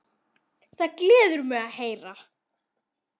Það gleður mig að heyra.